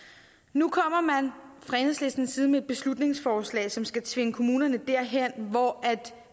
nu kommer man fra enhedslistens side med et beslutningsforslag som skal tvinge kommunerne derhen hvor